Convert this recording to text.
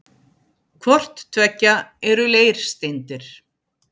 Hvort tveggja eru leirsteindir.